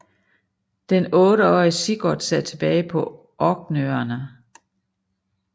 Den otteårige Sigurd sad tilbage på Orknøerne